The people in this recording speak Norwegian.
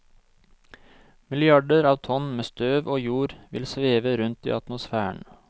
Milliarder av tonn med støv og jord vil sveve rundt i atmosfæren.